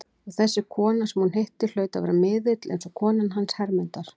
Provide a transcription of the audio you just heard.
Og þessi kona sem hún hitti hlaut að vera miðill, eins og konan hans Hermundar.